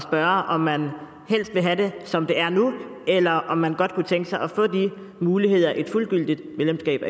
spørge om man helst vil have det som det er nu eller om man godt kunne tænke sig at få de muligheder et fuldgyldigt medlemskab